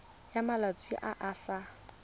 ya malwetse a a sa